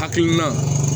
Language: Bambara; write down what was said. Hakilina